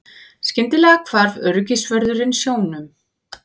Skyndilega hvarf öryggisvörðurinn sjónum.